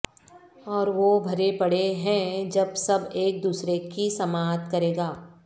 اور وہ بھرے پڑے ہیں جب سب ایک دوسرے کی سماعت کرے گا